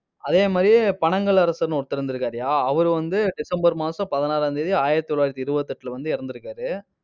அதே மாதிரி, பனகல் அரசர்ன்னு ஒருத்தர் இருந்திருக்காருய்யா அவர் வந்து டிசம்பர் மாசம் பதினாறாம் தேதி ஆயிரத்தி தொள்ளாயிரத்தி இருபத்தி எட்டுல வந்து இறந்திருக்காரு.